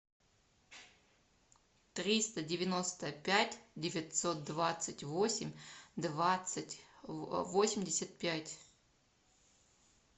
триста девяносто пять девятьсот двадцать восемь двадцать восемьдесят пять